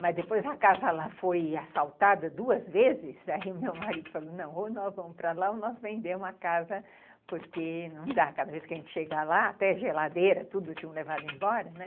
Mas depois a casa lá foi assaltada duas vezes, aí o meu marido falou, não, ou nós vamos para lá ou nós vendemos a casa, porque não dá, cada vez que a gente chega lá, até a geladeira, tudo tinha levado embora, né?